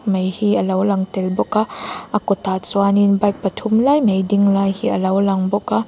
mei hi a lo lang tel bawk a a kawtah chuan in bike pathum lai mai ding lai hi a lo lang bawk a.